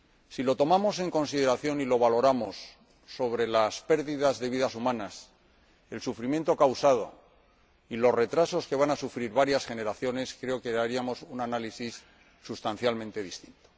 Si lo tomamos en consideración y lo valoramos con respecto a la pérdida de vidas humanas, el sufrimiento causado y los retrasos que van a sufrir varias generaciones, creo que haríamos un análisis sustancialmente distinto.